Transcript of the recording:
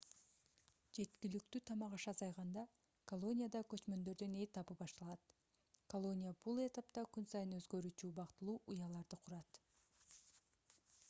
жеткиликтүү тамак-аш азайганда колонияда көчмөндөрдүн этабы башталат колония бул этапта күн сайын өзгөрүүчү убактылуу уяларды курат